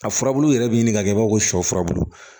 A furabulu yɛrɛ bɛ ɲini ka kɛ i b'a fɔ ko shɔ furabulu